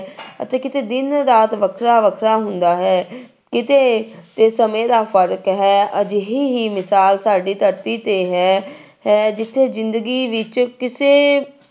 ਅਤੇ ਕਿਤੇ ਦਿਨ ਰਾਤ ਵੱਖਰਾ ਵੱਖਰਾ ਹੁੰਦਾ ਹੈ ਕਿਤੇ ਤੇ ਸਮੇਂ ਦਾ ਫ਼ਰਕ ਹੈ ਅਜਿਹੀ ਹੀ ਮਿਸ਼ਾਲ ਸਾਡੀ ਧਰਤੀ ਤੇ ਹੈ ਹੈ ਜਿੱਥੇ ਜ਼ਿੰਦਗੀ ਵਿੱਚ ਕਿਸੇ